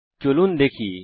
চলুন একবার দেখি